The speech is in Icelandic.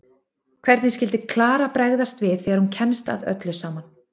Hvernig skyldi Klara bregðast við þegar hún kemst að öllu saman?